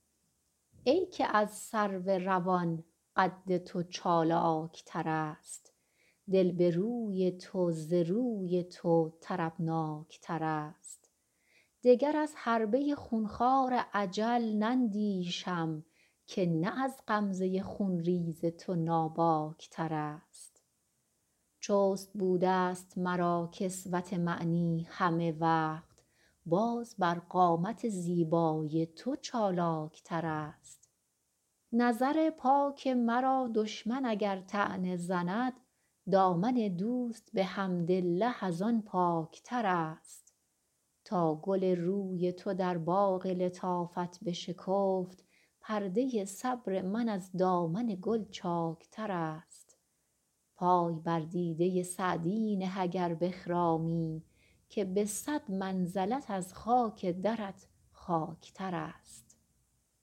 ای که از سرو روان قد تو چالاک ترست دل به روی تو ز روی تو طربناک ترست دگر از حربه خون خوار اجل نندیشم که نه از غمزه خون ریز تو ناباک ترست چست بوده ست مرا کسوت معنی همه وقت باز بر قامت زیبای تو چالاک ترست نظر پاک مرا دشمن اگر طعنه زند دامن دوست به حمدالله از آن پاک ترست تا گل روی تو در باغ لطافت بشکفت پرده صبر من از دامن گل چاک ترست پای بر دیده سعدی نه اگر بخرامی که به صد منزلت از خاک درت خاک ترست